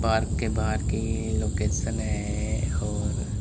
Park के बाहर की लोकेशन है और।